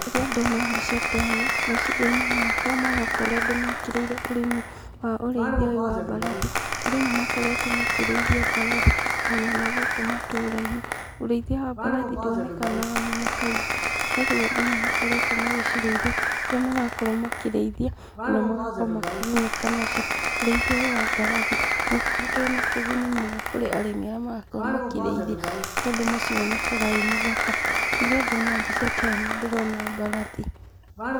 Rĩrĩa ndona mbica ta ĩno, meciria-inĩ makwa maroka ũrĩa andũ mekĩrĩire ũrĩmi wa ũrĩithia ũyũ wa mbarathi, andũ nĩ makoretwo makĩrĩithia mbarathi ona na gũkũ matũra-inĩ ,ũrĩithia wa mbarathi nduonekanaga mũno kaingĩ no rĩu andũ nĩ makoretwo makĩcirĩithia kũrĩa andũ marakorwo makĩrĩithia ona magakorwo makĩgunĩka nacio, ũriithia wa mbarathi ni ũkoretwo wina kiguni mũno kũria arimi aria marakorwo makiriithia, tondũ mũcii wonekanaga wi mũthaka, riria ndona mbica ta ino ndirona mbarathi.